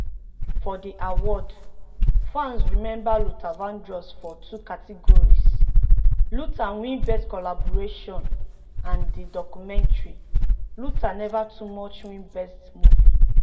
for di awards fans remember luther vandross for two categories: "luther" win best collaboration and di documentary luther: never too much win best movie.